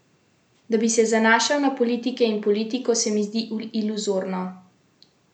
Da bi se zanašal na politike in politiko, se mi zdi iluzorno.